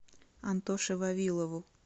антоше вавилову